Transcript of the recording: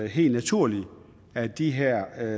helt naturligt at de her